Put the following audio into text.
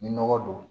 Ni nɔgɔ don